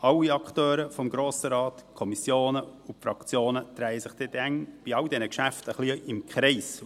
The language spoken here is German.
alle Akteure des Grossen Rates, die Kommissionen und die Fraktionen, drehen sich bei all diesen Geschäften immer ein bisschen im Kreis.